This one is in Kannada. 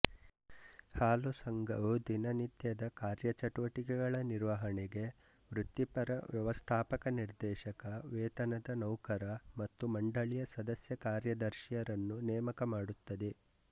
ಹಾಲು ಸಂಘವು ದಿನನಿತ್ಯದ ಕಾರ್ಯಚಟುವಟಿಕೆಗಳ ನಿರ್ವಹಣೆಗೆ ವೃತ್ತಿಪರ ವ್ಯವಸ್ಥಾಪಕ ನಿರ್ದೇಶಕವೇತನದ ನೌಕರ ಮತ್ತು ಮಂಡಳಿಯ ಸದಸ್ಯ ಕಾರ್ಯದರ್ಶಿರನ್ನು ನೇಮಕ ಮಾಡುತ್ತದೆ